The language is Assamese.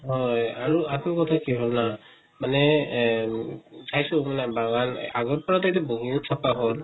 হয় আৰু আকৌ কথা কি হʼল না মানে এহ চাইহো মানে বাগান আগৰ পৰাটো এইটো বহুত চাফা হʼল